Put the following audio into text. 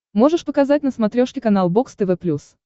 можешь показать на смотрешке канал бокс тв плюс